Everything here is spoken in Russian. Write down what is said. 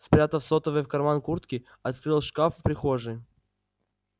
спрятав сотовый в карман куртки открыл шкаф в прихожей